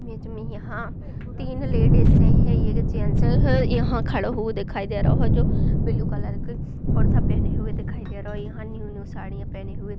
बीच मे यहाँ तीन लेडीसे है ये जेंटसों है यहाँ खड़ा हुआ दिखाई दे रहो है जो ब्लू कलर का कुरता पहने हुए दिखाई दे रहो है यहाँ नइव-नइव साड़ी पहनी हुई --